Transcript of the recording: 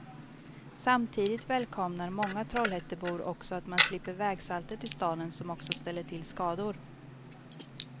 Samtidigt välkomnar många trollhättebor också att man slipper vägsaltet i staden som också ställer till skador.